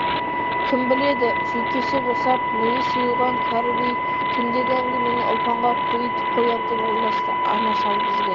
кім біледі жүйкесі босап миы сұйылған кәрі би түндегі әңгімені ұлпанға көйітіп қояр деп ойласты ана шал бізге